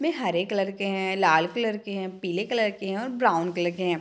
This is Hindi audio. में हरे कलर के हैं लाल कलर के हैं पीले कलर के हैं और ब्राउन कलर के हैं।